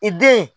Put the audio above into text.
I den